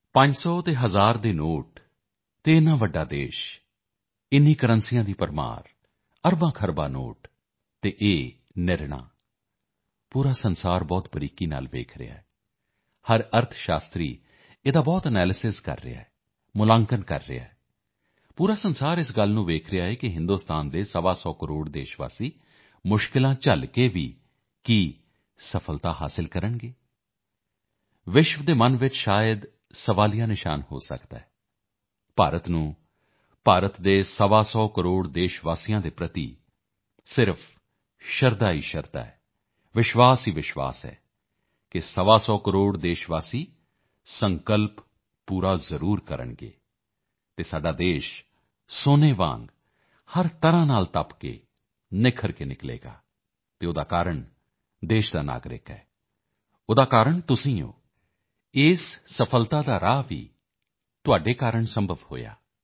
ਪੰਜ ਸੌ ਅਤੇ ਹਜ਼ਾਰ ਦੇ ਨੋਟ ਅਤੇ ਇੰਨਾ ਵੱਡਾ ਦੇਸ਼ ਇੰਨੀਆਂ ਕਰੰਸੀਆਂ ਦੀ ਭਰਮਾਰ ਅਰਬਾਂਖਰਬਾਂ ਨੋਟ ਅਤੇ ਇਹ ਫੈਸਲਾਪੂਰਾ ਵਿਸ਼ਵ ਬਹੁਤ ਬਰੀਕੀ ਨਾਲ ਦੇਖ ਰਿਹਾ ਹੈ ਹਰ ਕੋਈ ਅਰਥਸ਼ਾਸਤਰੀ ਇਸ ਦਾ ਬਹੁਤ ਐਨਾਲਿਸਿਸ ਕਰ ਰਿਹਾ ਹੈ ਮੁੱਲਾਂਕਣ ਕਰ ਰਿਹਾ ਹੈ ਪੂਰਾ ਵਿਸ਼ਵ ਇਸ ਗੱਲ ਨੂੰ ਦੇਖ ਰਿਹਾ ਹੈ ਕਿ ਹਿੰਦੁਸਤਾਨ ਦੇ ਸਵਾ ਸੌ ਕਰੋੜ ਦੇਸ਼ਵਾਸੀ ਕੀ ਕਠਿਨਾਈਆਂ ਝੱਲ ਕੇ ਵੀ ਸਫਲਤਾ ਪ੍ਰਾਪਤ ਕਰਨਗੇ ਵਿਸ਼ਵ ਦੇ ਮਨ ਵਿੱਚ ਸ਼ਾਇਦ ਪ੍ਰਸ਼ਨ ਚਿੰਨ੍ਹ ਹੋ ਸਕਦਾ ਹੈ ਭਾਰਤ ਨੂੰ ਭਾਰਤ ਦੇ ਸਵਾ ਸੌ ਕਰੋੜ ਦੇਸ਼ਵਾਸੀਆਂ ਪ੍ਰਤੀ ਸਿਰਫ਼ ਸ਼ਰਧਾ ਹੀ ਸ਼ਰਧਾ ਹੈ ਵਿਸ਼ਵਾਸ ਹੀ ਵਿਸ਼ਵਾਸ ਹੈ ਕਿ ਸਵਾ ਸੌ ਕਰੋੜ ਦੇਸ਼ਵਾਸੀ ਸੰਕਲਪ ਪੂਰਣ ਕਰਕੇ ਹੀ ਰਹਿਣਗੇ ਅਤੇ ਸਾਡਾ ਦੇਸ਼ ਸੋਨੇ ਦੀ ਤਰ੍ਹਾਂ ਹਰ ਪ੍ਰਕਾਰ ਤੋਂ ਤਪ ਕਰਕੇ ਨਿੱਖਰ ਕੇ ਨਿਕਲੇਗਾ ਅਤੇ ਉਸ ਦਾ ਕਾਰਨ ਇਸ ਦੇਸ਼ ਦਾ ਨਾਗਰਿਕ ਹੈ ਉਸ ਦਾ ਕਾਰਨ ਤੁਸੀਂ ਹਨ ਇਸ ਸਫਲਤਾ ਦਾ ਮਾਰਗ ਵੀ ਤੁਹਾਡੇ ਕਾਰਨ ਹੀ ਸੰਭਵ ਹੋਇਆ ਹੈ